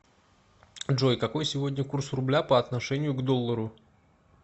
джой какой сегодня курс рубля по отношению к доллару